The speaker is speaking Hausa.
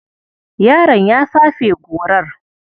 Yaron ya fafe gorar.